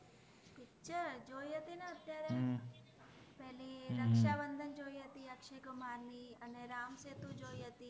Picture જોઇ હતિ ને અત્ય઼આરે પેલિ રક્શાબન્ધન જોઇ હતિ અક્શય઼ કુમાર ની અને રામસેતુ જોઇ હતિ